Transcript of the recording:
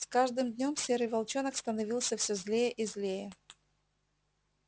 с каждым днём серый волчонок становился всё злее и злее